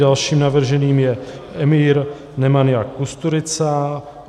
Dalším navrženým je Emir Nemanja Kusturica